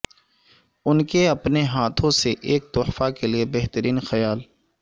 ان کے اپنے ہاتھوں سے ایک تحفہ کے لئے بہترین خیال